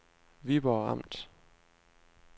Viborg Amt